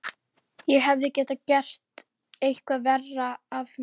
Ég hefði getað gert eitthvað verra af mér.